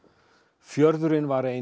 fjörðurinn var ein